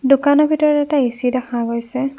দোকানৰ ভিতৰত এটা এ_চি দেখা গৈছে।